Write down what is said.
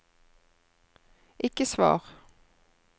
ikke svar